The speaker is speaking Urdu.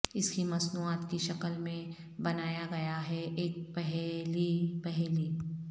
اس کی مصنوعات کی شکل میں بنایا گیا ہے ایک پہیلی پہیلی